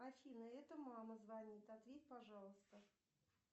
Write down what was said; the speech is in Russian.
афина это мама звонит ответь пожалуйста